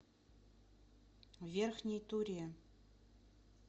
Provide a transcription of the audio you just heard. верхней туре